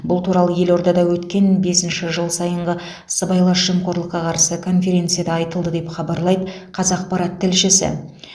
бұл туралы елордада өткен бесінші жыл сайынғы сыбайлас жемқорлыққа қарсы конференцияда айтылды деп хабарлайды қазақпарат тілшісі